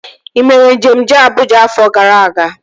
Ị mere njem jee Abụja afọ gara aga?